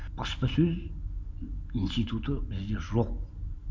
баспасөз институты бізде жоқ